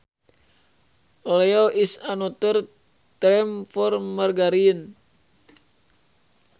Oleo is another term for margarine